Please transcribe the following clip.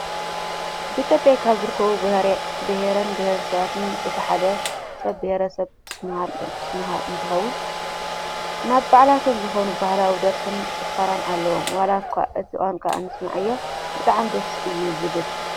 ኣብ ኢትዮጵያ ካብ ዝርከቡ ብሄርን ብሄረሰባትን እቲ ሓደ ብሄረሰብ ሱማል እንትኸውን ናብ ባዕልቶም ዝኾነ ባህላዊ ደርፍን ጭፈራን ኣለዎም። ዋላኳ እቲ ቋንቋ ኣንስምዐዮ ብጣዕሚ ደስ እዩ ዝብል።